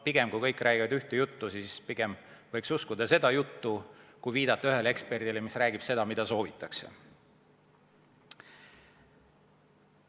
Pigem, kui kõik räägivad ühte juttu, siis võiks uskuda seda juttu, mitte viidata ühele eksperdile, kes räägib seda, mida soovitakse.